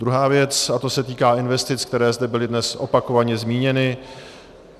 Druhá věc, a to se týká investic, které zde byly dnes opakovaně zmíněny.